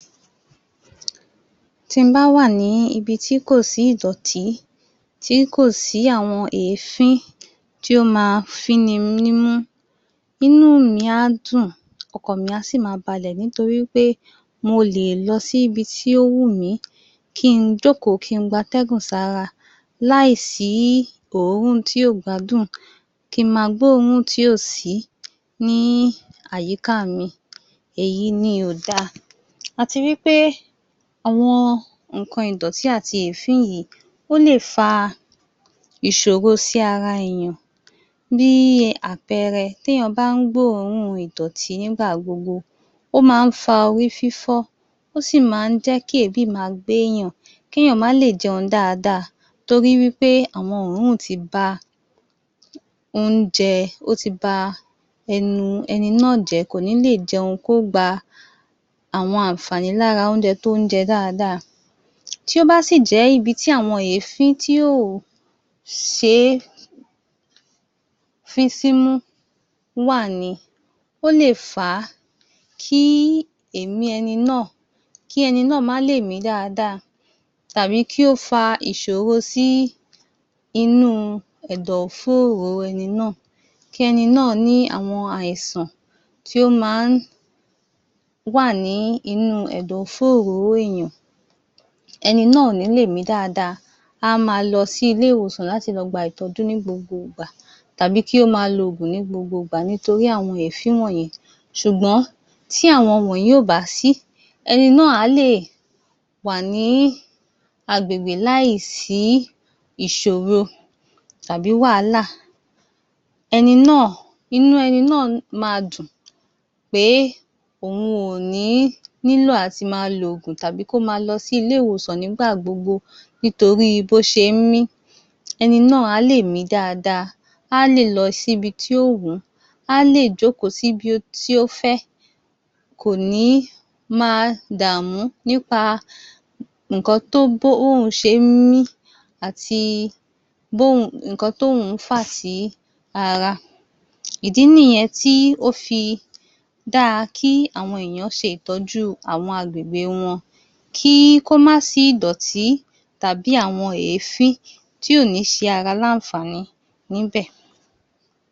Tí mo bá wà ní ibi tí kò sí ìdọ̀tí, tí kò sí àwọn èéfín, tí ó máa fí mi nímú, inú mi á dùn, ọ̀kàn mi a sì máa balẹ̀ nítorí wí pé mò lè lọ síbi tí ó wù mí kí í jókòó, kí í gba atẹ́gùn sára láìsí òórùn tí ò gbádùn kí má gbóòórún tí kò sí ní àyíká mi, èyí ni ò da. Àti wí pé àwọn nǹkan ìdọ̀ti àti èéfín yìí ó lè fa ìṣòro sí ara èèyan. Bí àpẹẹrẹ, tí èèyàn bá ń gbóòórùn Ìdọ̀tí nígbà gbogbo, ó máa ń fa orí fífọ́, ó sì máa ń jẹ́ kí èébì má gbé èèyàn, kí èèyàn má lè jẹun dáadáa torí wí pé àwọn òórùn tí ba oúnjẹ, ó tí ba ẹnu ẹni nà jẹ́, kò ni lè jẹun kí ó gba àwọn àǹfààní lára oúnjẹ tí ó ń jẹ dáadáa. Tí o bá sì jẹ ibi tí àwọn èéfín tí ò ṣe fín ín símú wà ni ó lè fa kí èémí ẹni náà kí ẹni náà má lè mí dáadáa tàbí kí ó fa ìṣòro sí inú ẹ̀dọ̀ fóró ẹni náà. Kí ẹni náà ní àwọn àìsàn tí o má wà ní inú ẹ̀dọ̀ fóró èèyàn ẹni náà ò ní lè mí dáadáa, a máa lọ sí ilé-ìwọ̀sàn láti lọ gba ìtọ́jú ní gbogbo ìgbà tàbí kí ó máa lo oògùn ní gbogbo ìgbà nítorí àwọn èéfín wọ̀nyí ṣùgbọ́n tí àwọn wọ̀nyí ò bá sí ẹni náà á lè wà ní agbègbè láìsí ìṣòro tàbí wàhálà Ẹni náà inú ẹni náà máa dùn pé òun ò ní nílò àti máa lo oògùn tàbí kí ó máa lọ sí ilé-ìwòsàn nígbà gbogbo nítorí bó ṣe mí ẹni náà a lè mí dáadáa a lè lọ sí ibi tí ó wù a lè jókòó sí ibi tí ó fẹ́ kò ní máa dàmú nípa nǹkan tí o bá òun ṣe mí àti bí òun nǹkan tí òun fà sí ara. Ìdí nìyẹn tí ó fi dára kí àwọn èèyàn ṣe ìtọ́jú àwọn agbègbè wọn Kí ó máa sí ìdọ̀tí tàbí àwọn èéfín tí ò ní ṣe ara ní àǹfààní níbẹ̀.